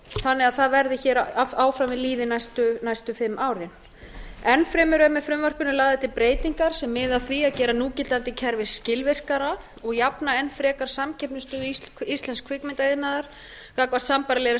þannig að það verði áfram við lýði næstu fimm árin enn fremur eru með frumvarpinu lagðar til breytingar sem miða að því að gera núgildandi kerfi skilvirkara og jafna enn frekar samkeppnisstöðu íslensks kvikmyndaiðnaðar gagnvart sambærilegri